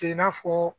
Kɛ i n'a fɔ